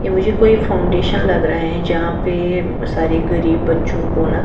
ये मुझे कोई फाउंडेशन लग रहा है जहां पे सारे गरीब बच्चों को ना--